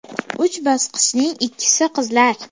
Uch bosqinchining ikkisi qizlar.